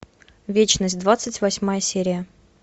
вечность двадцать восьмая серия